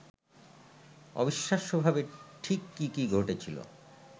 অবিশ্বাস্যভাবে ঠিক কি কি ঘটেছিলো